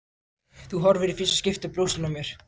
Þú horfir í fyrsta skipti á brjóstin á mér.